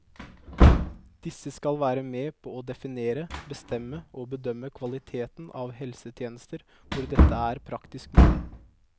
Disse skal være med på å definere, bestemme og bedømme kvaliteten av helsetjenester hvor dette er praktisk mulig.